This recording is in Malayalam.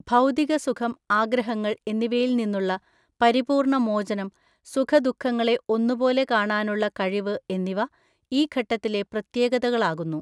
ഭൗതിക സുഖം ആഗ്രഹങ്ങൾ എന്നിവയിൽ നിന്നുള്ള പരിപൂർണ്ണ മോചനം സുഖദുഃഖങ്ങളെ ഒന്നുപോലെ കാണാനുള്ള കഴിവ് എന്നിവ ഈ ഘട്ടത്തിലെ പ്രത്യകതകളാകുന്നു.